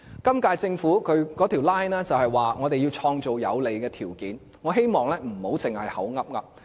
今屆政府的 line 是要創造有利的條件，我希望不要只是隨口說。